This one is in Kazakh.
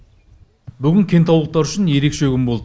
бүгін кентаулықтар үшін ерекше күн болды